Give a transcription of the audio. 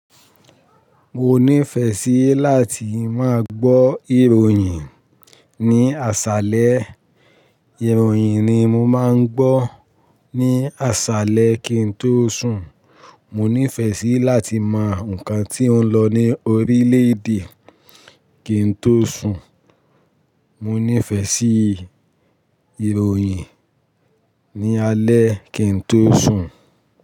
Mo nífẹ̀ẹ́ sí láti máa gbọ́ ìròyìn ní àṣálẹ́. Ìròyìn ni mo máa ń gbọ́ ní àṣálẹ́ kí n tó sùn. Mo nífẹ̀ẹ́ sí láti mọ nǹkan tí ó ń lọ ní orílẹ̀-èdè kí n tó sùn. Mo nífẹ̀ẹ́ sí ìròyìn ní alẹ́ kí n tó sùn.